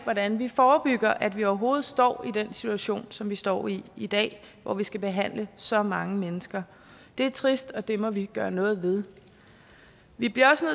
hvordan vi forebygger at vi overhovedet står i den situation som vi står i i dag hvor vi skal behandle så mange mennesker det er trist og det må vi gøre noget ved vi bliver også